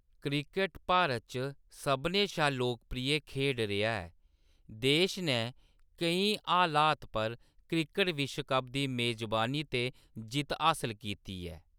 Cricket Bharat च सभनें शा लोकप्रिय खेड्ड रेहा ऐ, देश नै केईं हालात पर क्रिकेट विश्व कप दी मेजबानी ते जित्त हासल कीती ऐ।